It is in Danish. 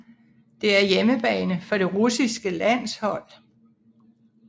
Det er hjemmebane for det russiske landshold